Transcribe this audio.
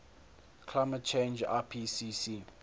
climate change ipcc